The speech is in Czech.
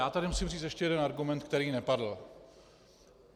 Já tady musím říct ještě jeden argument, který nepadl.